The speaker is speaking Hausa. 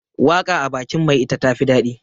waka a bakin mai ita tafi dadi